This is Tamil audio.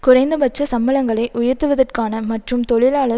குறைந்தபட்ச சம்பளங்களை உயர்த்துவதற்கான மற்றும் தொழிலாளர்